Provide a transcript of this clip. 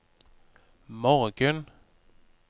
morgen